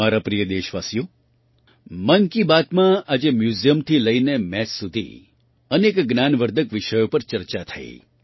મારા પ્રિય દેશવાસીઓ મન કી બાતમાં આજે મ્યૂઝિયમથી લઈને મેથ સુધી અનેક જ્ઞાનવર્ધક વિષયો પર ચર્ચા થઈ